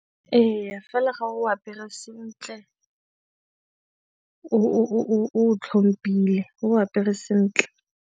Ee, fela ga o apere sentle o itlhomphile, o apere sentle.